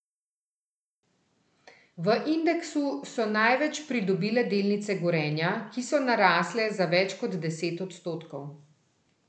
V indeksu so največ pridobile delnice Gorenja, ki so narasle za več kot deset odstotkov.